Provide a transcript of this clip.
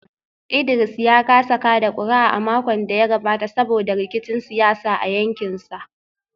Idris ya kasa kada kuri’a a makon da ya gabata saboda rikicin siyasa a yankinsa